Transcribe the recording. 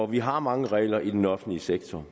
vi har mange regler i den offentlige sektor